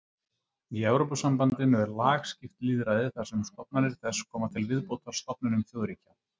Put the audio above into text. Í Evrópusambandinu er lagskipt lýðræði þar sem stofnanir þess koma til viðbótar stofnunum þjóðríkja.